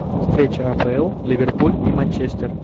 встреча апл ливерпуль и манчестер